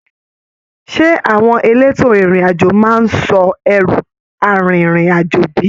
Ṣe àwọn èlétò ìrìn àjò máa n sọ ẹru arinrin-ajo bi?